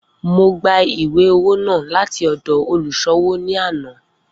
Mo gba iwe-owo naa lati ọdọ oluṣowo ni ana.